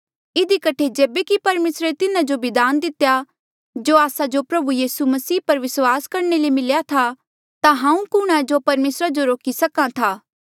इधी कठे जेबे कि परमेसरे तिन्हा जो भी दान दितेया जो आस्सा जो प्रभु यीसू मसीह पर विस्वास करणे ले मिल्या था ता मैं कुणहां जो परमेसरा जो रोकी सक्हा था